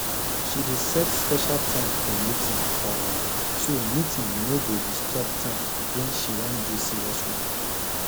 she dey set special time for meeting um so meeting no go disturb time when she wan do serious work